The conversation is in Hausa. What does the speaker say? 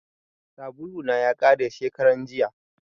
Sabulu na ya kare shekaran jiya